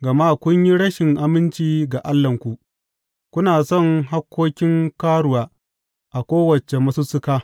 Gama kun yi rashin aminci ga Allahnku; kuna son hakkokin karuwa a kowace masussuka.